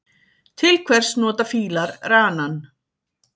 Til hvers nota fílar ranann?